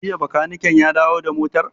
Jiya bakaniken ya dawo da motar?